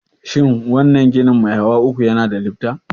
Shin wannan ginin mai hawa uku yana da lifta?